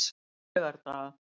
laugardaga